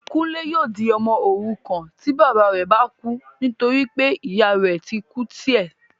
Kúnlé yóò di ọmọ òrukàn tí bàbá rẹ bá kú nítorí pé ìyá rẹ ti kú tí ẹ́